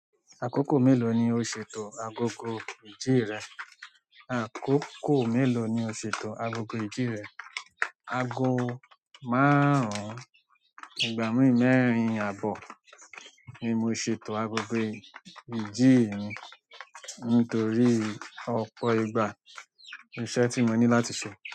Àkókò mélòó ni o ṣètò agogo iji rẹ̀? Àkókò mélòó ni o ṣètò agogo ìdí rẹ̀? Ago márùn-ún, ìgbà mí mẹ́rin àbọ̀ ni mo ṣètò agogo iji mi nítorí ọ̀pọ̀ ìgbà iṣẹ́ tí mo ní láti ṣe.